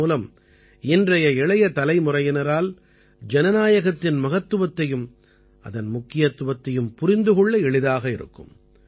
இதன் மூலம் இன்றைய இளைய தலைமுறையினரால் ஜனநாயகத்தின் மகத்துவத்தையும் அதன் முக்கியத்துவத்தையும் புரிந்து கொள்ள எளிதாக இருக்கும்